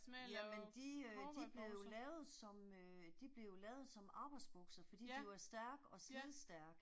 Jamen de øh de blev jo lavet som øh de blev jo lavet som arbejdsbukser fordi de var stærke og slidstærke